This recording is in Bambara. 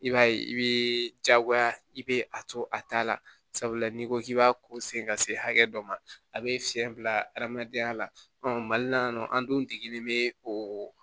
I b'a ye i bɛ diyagoya i bɛ a to a ta la sabula n'i ko k'i b'a ko sen ka se hakɛ dɔ ma a bɛ fiɲɛ bila adamadenya la mali la yan nɔ an dun degelen bɛ oo